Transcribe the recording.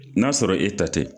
N'a sɔrɔ e ta tɛ.